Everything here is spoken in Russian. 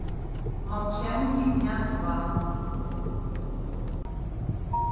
молчание ягнят два